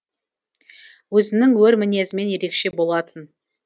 өзінің өр мінезімен ерекше болатын